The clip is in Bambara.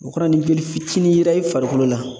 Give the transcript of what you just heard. O kɔrɔ ye ni joli fitinin yera i farikolo la